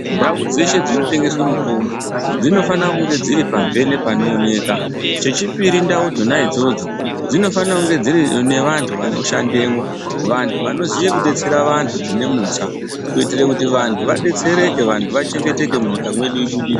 Ndau dzeshe dzinotengeswe mitombo dzinofana kunge dziri pamhene panooneka, chechipiri ndau dzona idzodzo dzinofana kunge dziine vantu vanoshandemwo vantu vanoziye kudetsera vantu zvine mutsa kuitira kuti vantu vadetsereke vantu vachengeteke munyika mweedu ibudirire.